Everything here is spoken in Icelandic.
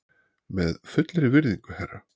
Með fullri virðingu, herra.